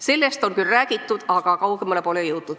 Sellest on küll räägitud, aga kaugemale pole jõutud.